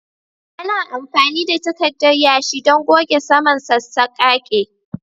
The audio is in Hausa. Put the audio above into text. Ana amfani da takarda yashi don goge saman sassaƙaƙe